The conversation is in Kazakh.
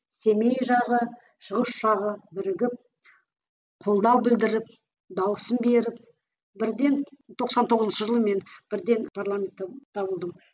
семей жағы шығыс жағы бірігіп қолдау білдіріп дауысын беріп бірден тоқсан тоғызыншы жылы мен бірден парламенттен табылдым